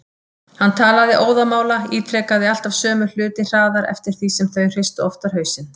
Hann talaði óðamála, ítrekaði alltaf sömu hluti hraðar eftir því sem þau hristu oftar hausinn.